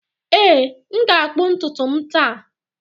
Ee, m ga-akpụ ntutu m taa.